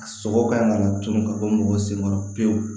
Sogo kan ka laturu ka bɔ mɔgɔ sen kɔrɔ pewu